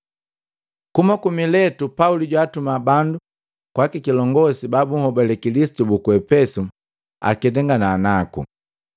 Kuhuma ku Miletu Pauli jwatuma bandu kwaa kilongosi ba bunhobale Kilisitu buku Epesu aketangana naku.